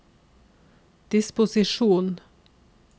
disposisjon